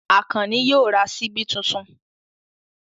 Àkànní yóò ra ṣíbí tuntun.